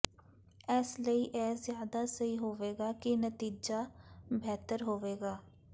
ਇਸ ਲਈ ਇਹ ਜਿਆਦਾ ਸਹੀ ਹੋਵੇਗਾ ਅਤੇ ਨਤੀਜਾ ਬਿਹਤਰ ਹੋਵੇਗਾ